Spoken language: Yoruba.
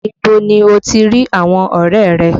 Ibo ni o ti rí àwọn ọrẹ rẹ?